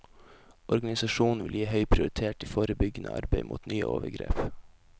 Organisasjonen vil gi høy prioritet til forebyggende arbeid mot nye overgrep.